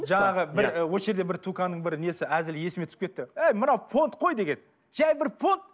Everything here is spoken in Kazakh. жаңағы бір осы жерде бір туканың бір несі әзілі есіме түсіп кетті әй мынау понт қой деген жай бір понт